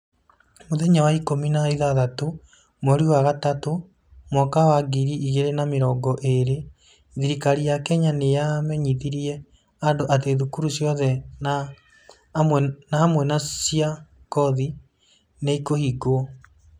Mũthenya wa ikũmi na ĩthathatũ, mweri wa gatatũ, mwaka wa ngiri igĩrĩ na mĩrongo ĩĩrĩ, Thirikari ya Kenya nĩ yamenyithirie andũ atĩ thukuru ciothe na amwe na cia koci nĩ ikũhingwo.